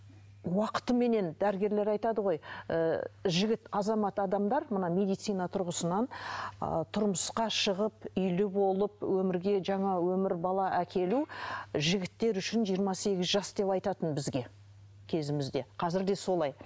уақытыменен дәрігерлер айтады ғой ыыы жігіт азамат адамдар мына медицина тұрғысынан ы тұрмысқа шығып үйлі болып өмірге жаңа өмір бала әкелу жігіттер үшін жиырма сегіз жас деп айтатын бізге кезімізде қазір де солай